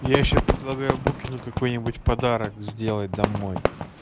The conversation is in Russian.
я ещё предлагаю букину какой-нибудь подарок сделать домой